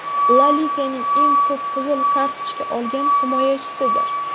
La Liganing eng ko‘p qizil kartochka olgan himoyachisidir.